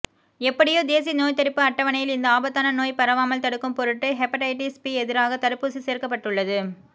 எப்படியோ தேசிய நோய்த்தடுப்பு அட்டவணையில் இந்த ஆபத்தான நோய் பரவாமல் தடுக்கும் பொருட்டு ஹெபடைடிஸ் பி எதிராக தடுப்பூசி சேர்க்கப்பட்டுள்ளது